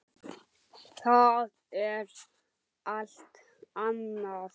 Það er allt annað.